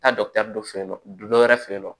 Taa fɛ yen nɔ dɔ wɛrɛ fe yen nɔ